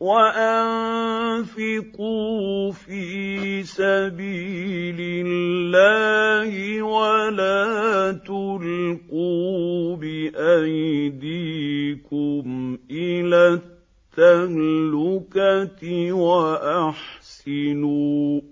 وَأَنفِقُوا فِي سَبِيلِ اللَّهِ وَلَا تُلْقُوا بِأَيْدِيكُمْ إِلَى التَّهْلُكَةِ ۛ وَأَحْسِنُوا ۛ